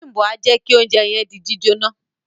Bimbo a jẹ kí ounjẹ yẹn di jíjóná.